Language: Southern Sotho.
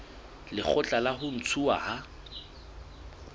lekgotla la ho ntshuwa ha